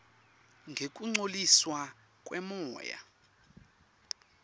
ngekungcoliswa kwemoya